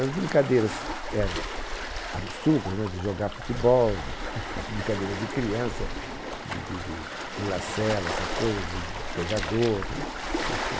As brincadeiras eram absurdas, de jogar futebol, as brincadeiras de criança, de de de pular cela, essas coisas né, pegardor, isso